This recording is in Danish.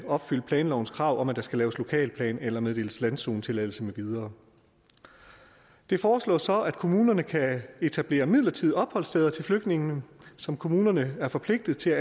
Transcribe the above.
opfylde planlovens krav om at der skal laves lokalplan eller meddeles landzonetilladelse med videre det foreslås så at kommunerne kan etablere midlertidige opholdssteder til flygtningene som kommunerne er forpligtet til